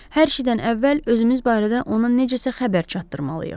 Hər şeydən əvvəl özümüz barədə ona necəsə xəbər çatdırmalıyıq.